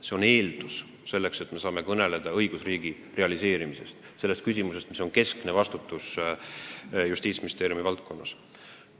See on eeldus, et me saaksime kõnelda õigusriigi realiseerimisest, mis on Justiitsministeeriumi valdkonnas põhiülesanne.